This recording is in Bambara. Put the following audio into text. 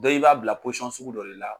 Dɔ i b'a bila sugu dɔ de la.